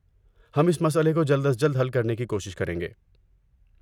ہم اس مسئلے کو جلد از جلد حل کرنے کی کوشش کریں گے۔